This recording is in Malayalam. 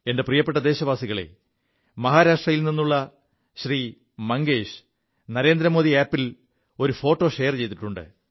എന്റെ പ്രിയപ്പെ ദേശവാസികളേ മഹാരാഷ്ട്രയിൽ നിുള്ള ശ്രീ മംഗേശ് നരേന്ദ്രമോദി ആപ് ൽ ഒരു ഫോോ ഷെയർ ചെയ്തിുണ്ട്